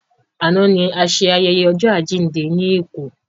Àná ni a ṣe ayẹyẹ ọjọ́ àjíǹde lékòó